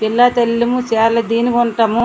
ఉంటాము.